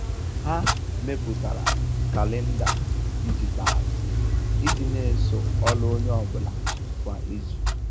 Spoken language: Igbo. Ha mepụtara kalenda dijitalụ iji n'eso ọlụ onye ọ bụla kwa izu.